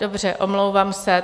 Dobře, omlouvám se.